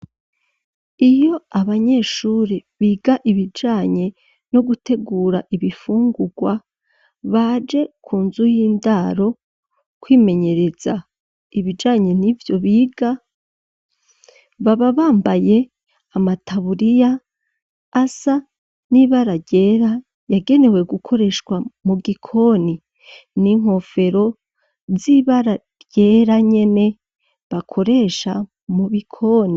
Iyo abanyeshuri biga ibijanye no gutegura ibifungurwa baje ku nzu y'indaro kwimenyereza ibijanye n'ivyo biga, baba bambaye amataburiya asa n'ibara ryera yagenewe gukoreshwa mu gikoni, n'inkofero z'ibara ryera nyene bakoresha mu bikoni.